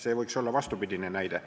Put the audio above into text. See võiks olla vastupidine näide.